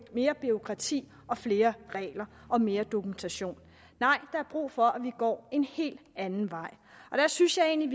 mere bureaukrati og flere regler og mere dokumentation nej der er brug for at vi går en helt anden vej der synes jeg egentlig